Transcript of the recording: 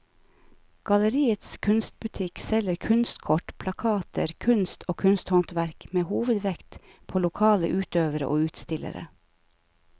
Galleriets kunstbutikk selger kunstkort, plakater, kunst og kunsthåndverk med hovedvekt på lokale utøvere og utstillere.